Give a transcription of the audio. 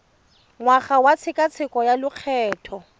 ngwaga wa tshekatsheko ya lokgetho